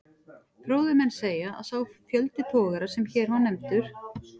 Fróðir menn segja, að sá fjöldi togara, sem hér var nefndur